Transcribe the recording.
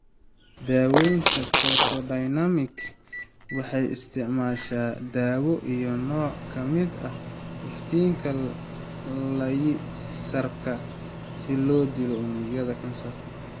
Daawaynta Photodynamic waxay isticmaashaa daawo iyo nooc ka mid ah iftiinka laysarka si loo dilo unugyada kansarka.